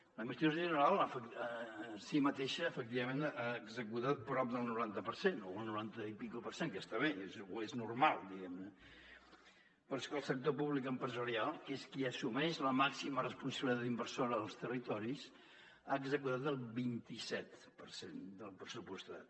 l’administració general en si mateixa efectivament ha executat prop del noranta per cent o el noranta i escaig per cent que està bé o és normal diguem ne però és que el sector públic empresarial que és qui assumeix la màxima responsabilitat inversora als territoris ha executat el vint i set per cent del pressupostat